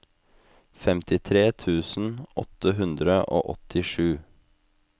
femtitre tusen åtte hundre og åttisju